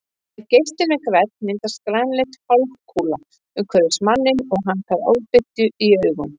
Ef geislinn er grænn myndast grænleit hálfkúla umhverfis manninn og hann fær ofbirtu í augun.